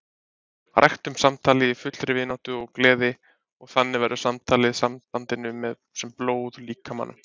Ræktum samtalið í fullri vináttu og gleði og þannig verður samtalið sambandinu sem blóð líkamanum.